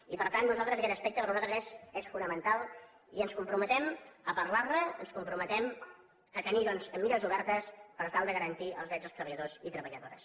i per tant per a nosaltres aquest aspecte és fonamental i ens comprometem a parlar ne ens comprometem a tenir doncs mires obertes per tal de garantir els drets dels treballadors i treballadores